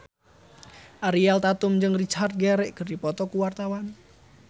Ariel Tatum jeung Richard Gere keur dipoto ku wartawan